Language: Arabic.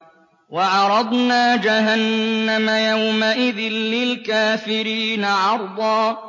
وَعَرَضْنَا جَهَنَّمَ يَوْمَئِذٍ لِّلْكَافِرِينَ عَرْضًا